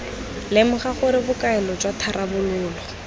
lemoga gore bokaelo jwa tharabololo